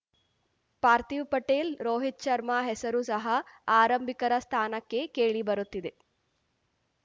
ಪಾರ್ಥೀವ್‌ ಪಟೇಲ್‌ ರೋಹಿತ್‌ ಶರ್ಮಾ ಹೆಸರು ಸಹ ಆರಂಭಿಕರ ಸ್ಥಾನಕ್ಕೆ ಕೇಳಿಬರುತ್ತಿದೆ